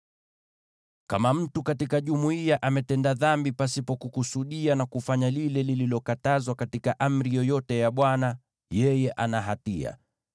“ ‘Kama mtu katika jumuiya ametenda dhambi pasipo kukusudia na kufanya lile lililokatazwa katika amri yoyote ya Bwana , yeye ana hatia.